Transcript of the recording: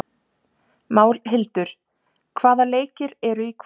Málhildur, hvaða leikir eru í kvöld?